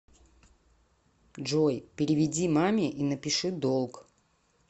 джой переведи маме и напиши долг